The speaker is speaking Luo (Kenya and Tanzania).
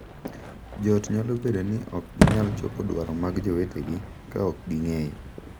Jo ot nyalo bedo ni ok ginyal chopo dwaro mag jowetegi ka ok ging’eyo,